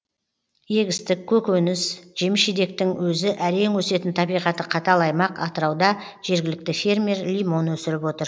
егістік көкөніс жеміс жидектің өзі әрең өсетін табиғаты қатал аймақ атырауда жергілікті фермер лимон өсіріп отыр